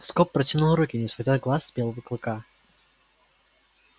скоп протянул руки не сводя глаз с белого клыка